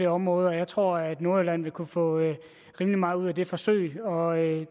område og jeg tror at man i nordjylland vil kunne få rimelig meget ud af det forsøg og